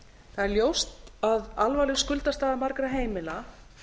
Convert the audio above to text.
það er ljóst að alvarleg skuldastaða margra heimila